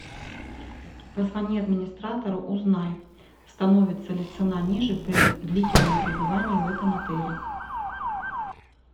позвони администратору узнай становится ли цена ниже при длительном пребывании в этом отеле